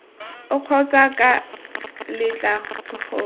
oo kgotsa ca letla gore